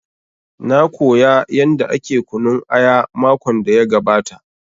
Na koya yanda ake kunun aya makon da ya gabata